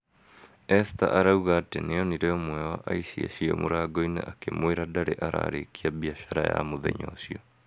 ester arauga atĩ nĩonire umwe wa aici acio mũrango-inĩ akĩmwũra ndarĩ ararĩkia biashara ya mũthenya ũcio